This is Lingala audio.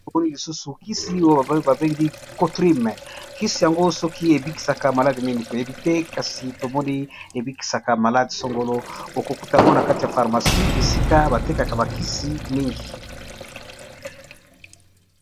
Tomoni lisusu kisi oyo ba bengi Cotrim kisi yango soki ebikisaka maladi nini toyebi te, kasi tomoni ebikisaka maladi songolo oko kutango na kati ya pharmacie esika ba tekaka ba kisi mingi.